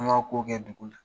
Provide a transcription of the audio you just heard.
An m'a k'o kɛ dugu la.